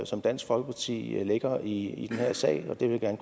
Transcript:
som dansk folkeparti lægger i den her sag og det vil jeg